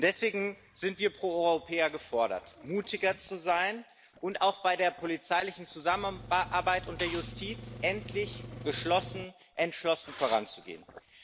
Deswegen sind wir Proeuropäer gefordert, mutiger zu sein und auch bei der polizeilichen Zusammenarbeit und der Justiz endlich entschlossen voranzugehen.